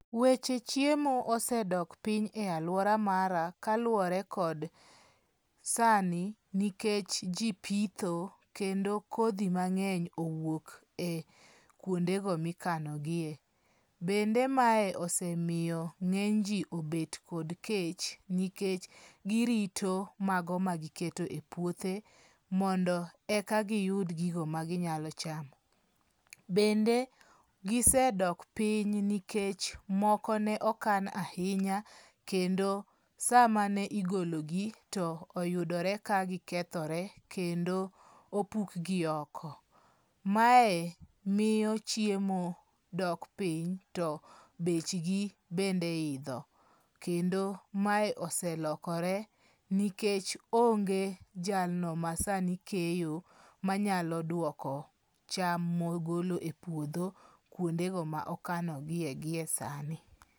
Weche chiemo osedok piny e aluora mara kaluwore kod sani nikech ji pitho kendo kodhi mang'eny owuok kuonde mikano giye. Bende mae osemiyo ng'eny ji obedo kod kech nikech giroto mago magiketo e puothe, mondo eka giyud gino ma ginyalo chamo. Bende gisedok piny nikech moko ne okan ahinya kendo samane igologi to oyudore ka gisekethore. Kendo opukgi oko. Mae miyo chiemo dok piny, bech gi bende idho. Kendo mae oselokore nikech onge jalno masani keyo manyalo duoko cham ma ogolo e puodho kuondego ma okano gie giesani.